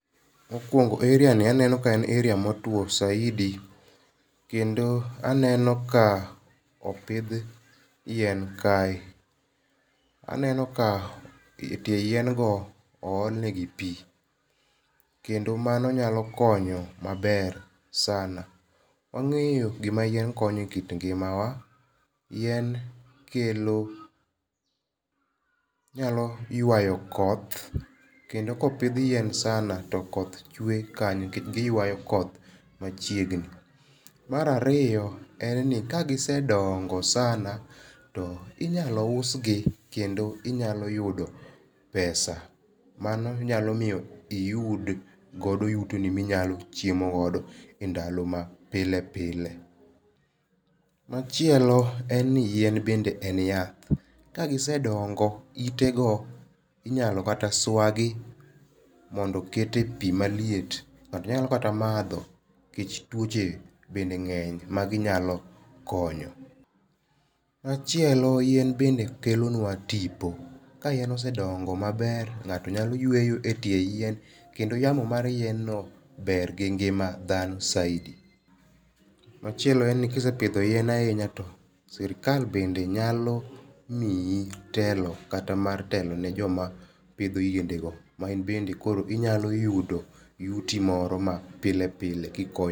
Mokwongo area ni aneno ka en area motwo saiadi kendo aneno ka opith yien kae, aneno ka tie yien go oolne gi pii kendo mano nyalo konyo maber sana wangeyo gima yien konyo e kit ng'ima wa, yien kelo nyalo ywayo koth kendo kopith yien sana to koth chwe kanyo nikech giywayo koth machiegni mar ariyoen ni ka gisedongo sana to inyalo usgi kendo inyalo yudo pesa, mano nyalo miyo iyudgodo yutoni minyalo chiemo godo e ndalo mapilepilae ,machielo bende en ni yien en yath kagiswdong'o ite go inyalo kata swagi mondo ket e pii maliet nato nyalo kata matho kikech twoche bende ng'eny ma ginyalo konyo, machielo yien bende kelo nwa tipo ka yien osedong'o maber ng'ato nyalo yweyo e tie yien kendo yamo mar yien no ber gi ng'ima dhano saidi, machielo en ni kisepithio yien ahinya to sirikal bende nyalo miyi telo kata mar telo ne joma pitho yiende go ma inbe inyalo yudo yuti moro ma pile pile kikony.